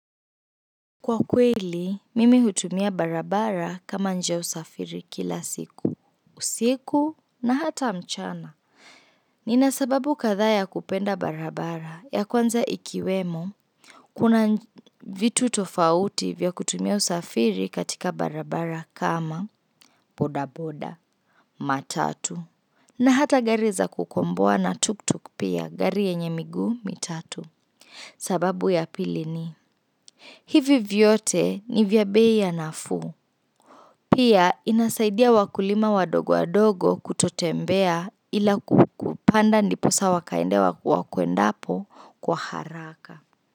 Kwa kweli, mimi utumia barabara kama njia ya usafiri kila siku. Usiku na hata mchana. Nina sababu kathaa ya kupenda barabara ya kwanza ikiwemo Kuna vitu tofauti vya kutumia usafiri katika barabara kama bodaboda, matatu na hata gari za kukomboa na tuk-tuk pia gari yenye miguu mitatu. Sababu ya pili ni hivi vyote ni vya bei ya nafuu. Pia inasaidia wakulima wadogo wadogo kutotembea ila kupanda ndiposa wakaende wakuwa kuendapo kwa haraka.